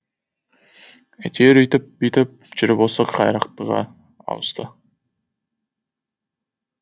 әйтеуір өйтіп бүйтіп жүріп осы қайрақтыға ауысты